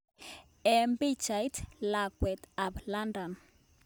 En pichait, lakwet ap London